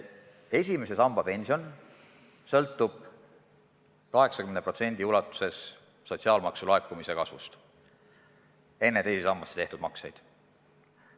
Esimese samba pension sõltub 80% ulatuses sotsiaalmaksu laekumise kasvust, enne teise sambasse tehtud makseid.